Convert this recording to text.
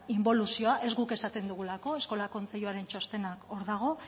inboluzioa ez guk esaten dugulako eskola kontseiluaren txostena hor dago